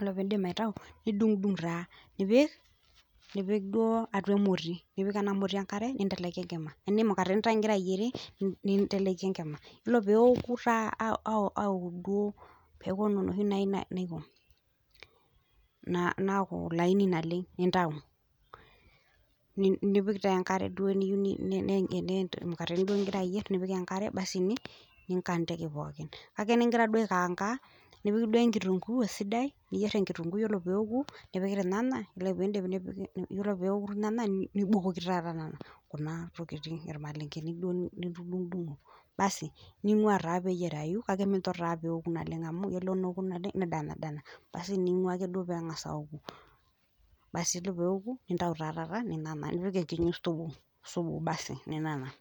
Ore pee indipa aitayu nidung'dung' taa nipik duo atua emoti, nipik ena moti enkare ninteleki enkima. Tanaa imukateni taa ingira ayierie ninteleki enkima ore pee eoku taa aoku duo peaku ana enoshi naiko naaku laini naleng' nintayu nipiki taa duo enkare , tanaa imukateni duo ingira ayier nipik enkare nikantiki taa pookin, teningira duo aikaanga nipik duo kitunguu esidai niyier enkitunguu, ore lelo neoku, nipik pee eitanana nindip ore pee eoku neitanana nibukoki taata Kuna tokitin aa ilmalenken, duo litudung'dung'o basi, ningua taa meteyierai kake nincho taa neoku naleng' amu ore pee eoku naleng',nedanadana. Basi ningua ake duo pee engas aoku , basi ore taa tata peoku nintayu taa taata nipik eniinyi subu basi neina naa